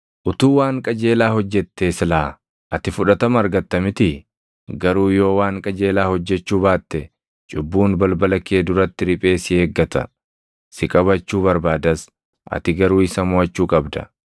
Utuu waan qajeelaa hojjettee silaa ati fudhatama argatta mitii? Garuu yoo waan qajeelaa hojjechuu baatte cubbuun balbala kee duratti riphee si eeggata; si qabachuu barbaadas; ati garuu isa moʼachuu qabda.”